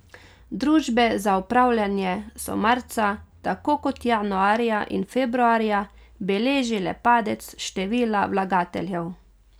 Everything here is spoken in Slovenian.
Družbe za upravljanje so marca, tako kot januarja in februarja, beležile padec števila vlagateljev.